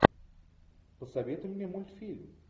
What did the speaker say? посоветуй мне мультфильм